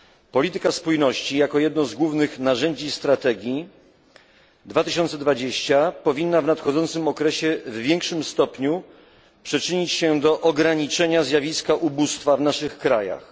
Polityka spójności, jako jedno z głównych narzędzi strategii 2020, powinna w nadchodzącym okresie w większym stopniu przyczynić się do ograniczenia zjawiska ubóstwa w naszych krajach.